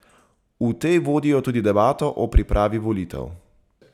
V tej vodijo tudi debato o pripravi volitev.